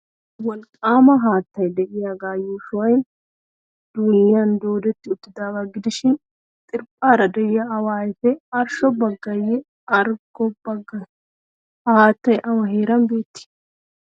Wolqqaama haattay de'iyagaa yuushoy duunniyan doodetti uttidaagaa gidishin xirphphaara de'iya awa ayfee arshsho baggeeyye arggo baggee? Ha haattay awa heeran beettii?